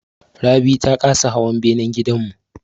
Rabi ta kasa hawa benan gidan mu.